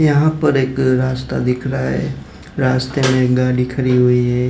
यहां पर एक रास्ता दिख रहा है रास्ते में एक गाड़ी खड़ी हुई है।